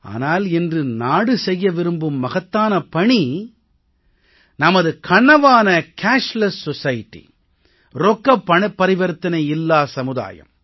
ஆனால் இன்று நாடு செய்ய விரும்பும் மகத்தான பணி நமது கனவான ரொக்கப் பணப்பரிவர்த்தனை இல்லா சமுதாயம்